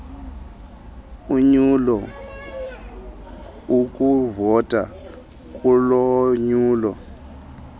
ulonyulo ukuvota kulonyulo